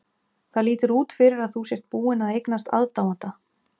Það lítur út fyrir að þú sért búin að eignast aðdáanda!